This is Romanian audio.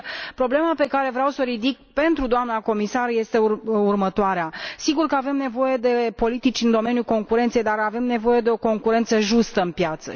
Problema pe care vreau să o ridic pentru doamna comisar este următoarea sigur că avem nevoie de politici în domeniul concurenței, dar avem nevoie de o concurență justă pe piață.